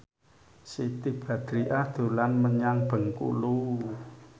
Siti Badriah dolan menyang Bengkulu